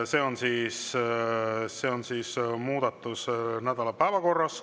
See on siis muudatus nädala päevakorras.